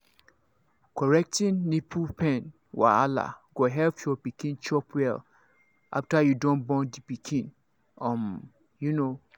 correcting nipple pain wahala go help your pikin chop well after you don born the pikin um you know